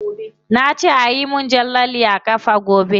Na ce ayi min jan lalle a kafa gobe.